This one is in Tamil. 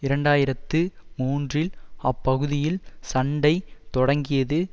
இரண்டு ஆயிரத்து மூன்றில் அப்பகுதியில் சண்டை தொடங்கியது